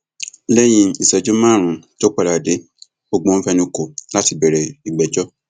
lẹyìn ìṣẹjú márùnún tó padà dé gbogbo wọn fẹnu kò láti bẹrẹ ìgbẹjọ